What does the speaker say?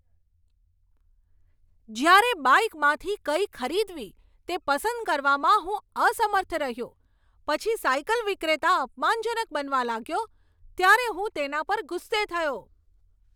જ્યારે બાઈકમાંથી કઈ ખરીદવી તે પસંદ કરવામાં હું અસમર્થ રહ્યો પછી સાઈકલ વિક્રેતા અપમાનજનક બનવા લાગ્યો ત્યારે હું તેના પર ગુસ્સે થયો.